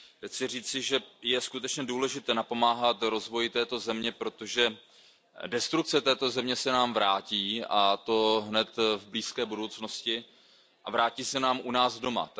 Chci říci, že je skutečně důležité napomáhat rozvoji této země, protože destrukce této země se nám vrátí, a to hned v blízké budoucnosti a vrátí se nám u nás doma.